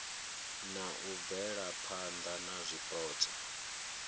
na u bvelaphana na zwipotso